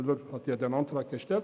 Müller hat den Antrag gestellt;